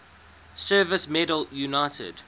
service medal united